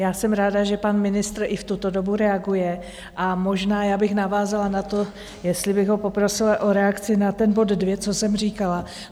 Já jsem ráda, že pan ministr i v tuto dobu reaguje, a možná já bych navázala na to, jestli bych ho poprosila o reakci na ten bod dvě, co jsem říkala.